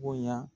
Bonya